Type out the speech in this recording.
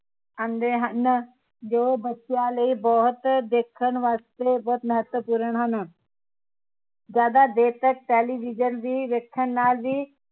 ਆਉਂਦੇ ਹਨ ਜੋ ਬੱਚਿਆਂ ਲਈ ਬਹੁਤ ਦੇਖਣ ਵਾਸਤੇ ਬਹੁਤ ਮਹੱਤਵਪੂਰਨ ਹਨ ਜਿਆਦਾ ਦੇਰ ਤਕ television ਵੀ ਵੇਖਣ ਨਾਲ ਵੀ